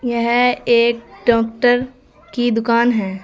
यह एक डॉक्टर की दुकान है।